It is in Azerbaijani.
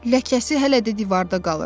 Ləkəsi hələ də divarda qalır.